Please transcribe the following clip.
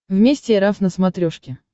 вместе эр эф на смотрешке